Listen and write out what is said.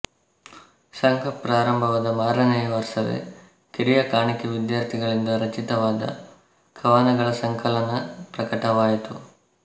ಸಂಘ ಪ್ರಾರಂಭವಾದ ಮಾರನೆಯ ವರ್ಷವೇ ಕಿರಿಯ ಕಾಣಿಕೆವಿದ್ಯಾರ್ಥಿಗಳಿಂದ ರಚಿತವಾದ ಕವನಗಳ ಸಂಕಲನಪ್ರಕಟವಾಯಿತು